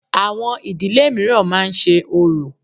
Àwọn ìdílé mìíràn máa ń ṣe orò.